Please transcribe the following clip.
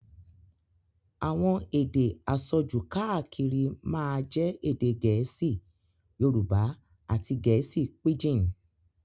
Àwọn èdè àsọjù káàkiri máa jẹ́ èdè gẹ̀ẹ́sì, Yorùbá àti gẹ̀ẹ́sì píjìn.